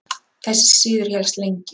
Þessi siður hélst lengi.